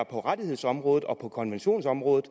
på rettighedsområdet og på konventionsområdet